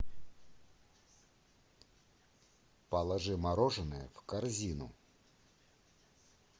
положи мороженое в корзину